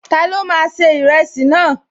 Ta ló máa ṣe ìrẹsì náà?